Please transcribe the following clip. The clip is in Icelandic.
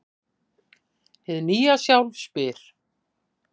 Hið nýja sjálf spyr: